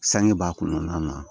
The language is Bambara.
Sange b'a kɔnɔna na